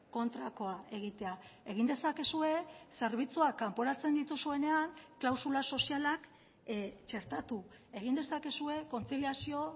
kontrakoa egitea egin dezakezue zerbitzuak kanporatzen dituzuenean klausula sozialak txertatu egin dezakezue kontziliazio